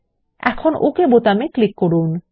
এখন ওকে বোতামে ক্লিক করুন